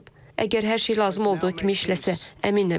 Əgər hər şey lazım olduğu kimi işləsə, əminəm ki, işləyəcək.